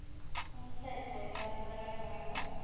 umtsetfo webantfu labadzala